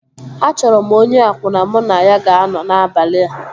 A chọrọ m onye akwụna mụ na ya ga-anọ n'abalị a